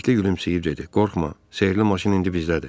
Bəlikli gülümsəyib dedi: qorxma, sehirli maşın indi bizdədir.